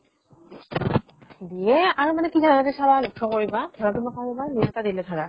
দিয়ে আৰু মানে কি জানানা তুমি চাবা লক্ষ্য কৰিবা ধৰ তোমাক কও ৰ'বা দিলে এটা ধাৰা